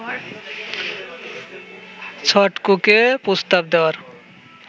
ছটকুকে প্রস্তাব দেওয়ার